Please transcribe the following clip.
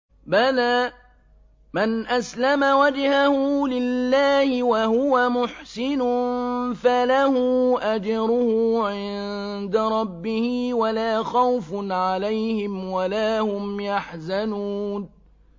بَلَىٰ مَنْ أَسْلَمَ وَجْهَهُ لِلَّهِ وَهُوَ مُحْسِنٌ فَلَهُ أَجْرُهُ عِندَ رَبِّهِ وَلَا خَوْفٌ عَلَيْهِمْ وَلَا هُمْ يَحْزَنُونَ